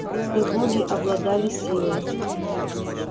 белые боги обладали силой